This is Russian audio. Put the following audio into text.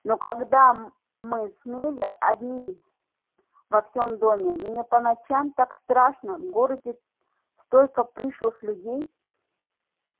но когда мы с мелли одни во всем доме мне по ночам так страшно в городе столько пришлых людей